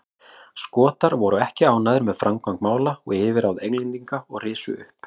Skotar voru ekki ánægðir með framgang mála og yfirráð Englendinga og risu upp.